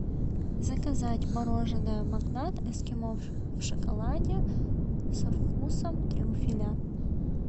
заказать мороженое магнат эскимо в шоколаде со вкусом трюфеля